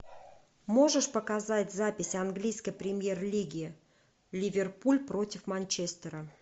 можешь показать запись английской премьер лиги ливерпуль против манчестера